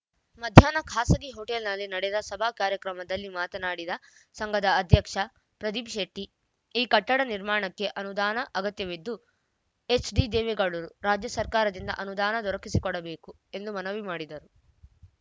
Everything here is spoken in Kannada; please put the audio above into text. ಮಧ್ಯಾಹ್ನ ಖಾಸಗಿ ಹೋಟೆಲ್‌ನಲ್ಲಿ ನಡೆದ ಸಭಾ ಕಾರ್ಯಕ್ರಮದಲ್ಲಿ ಮಾತನಾಡಿದ ಸಂಘದ ಅಧ್ಯಕ್ಷ ಪ್ರದೀಪ್‌ ಶೆಟ್ಟಿ ಈ ಕಟ್ಟಡ ನಿರ್ಮಾಣಕ್ಕೆ ಅನುದಾನ ಅಗತ್ಯವಿದ್ದು ಎಚ್‌ಡಿದೇವೇಗೌಡರು ರಾಜ್ಯ ಸರ್ಕಾರದಿಂದ ಅನುದಾನ ದೊರಕಿಸಿಕೊಡಬೇಕು ಎಂದು ಮನವಿ ಮಾಡಿದರು